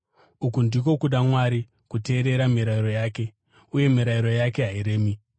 Uku ndiko kuda Mwari: kuteerera mirayiro yake. Uye mirayiro yake hairemi,